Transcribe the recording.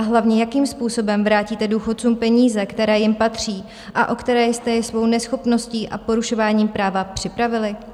A hlavně, jakým způsobem vrátíte důchodcům peníze, které jim patří a o které jste je svou neschopností a porušováním práva připravili?